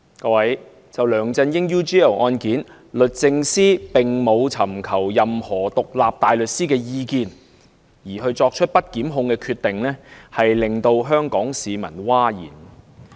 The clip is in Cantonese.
各位，就梁振英 UGL 案件，律政司並沒有尋求任何獨立大律師的意見，便作出不檢控的決定，令香港市民譁然。